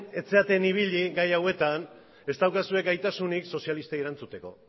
ez zareten ibili gai hauetan ez daukazue gaitasunik sozialistei erantzuteko